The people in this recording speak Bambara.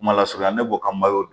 Mala surunya ne b'o ka malo dun